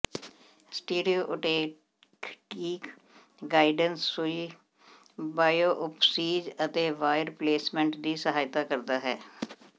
stereotactic guidance ਸੂਈ biopsies ਅਤੇ wire placement ਦੀ ਸਹਾਇਤਾ ਕਰਦਾ ਹੈ